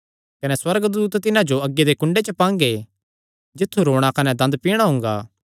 कने सुअर्गदूत तिन्हां जो अग्गी दे कुंडे च पांगे जित्थु रोणा कने दंद पिणा हुंगा